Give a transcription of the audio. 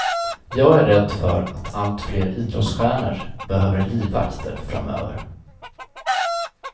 Jag är rädd för att allt fler idrottsstjärnor behöver livvakter framöver.